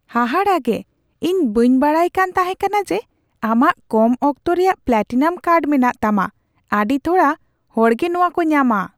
ᱦᱟᱦᱟᱲᱟᱜᱮ ! ᱤᱧ ᱵᱟᱹᱧ ᱵᱟᱰᱟᱭ ᱠᱟᱱ ᱛᱟᱦᱮᱠᱟᱱᱟ ᱡᱮ ᱟᱢᱟᱜ ᱠᱚᱢ ᱚᱠᱛᱚ ᱨᱮᱭᱟᱜ ᱯᱞᱟᱴᱤᱱᱟᱢ ᱠᱟᱨᱰ ᱢᱮᱱᱟᱜ ᱛᱟᱢᱟ ᱾ ᱟᱹᱰᱤ ᱛᱷᱚᱲᱟ ᱦᱚᱲᱜᱮ ᱱᱚᱣᱟ ᱠᱚ ᱧᱟᱢᱟ ᱾